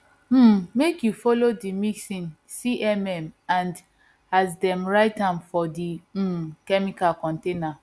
um make you follow the mixing cmm and as dem write am for the um chemicals container